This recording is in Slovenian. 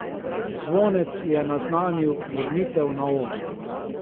Zvonec je naznanil vrnitev na oder.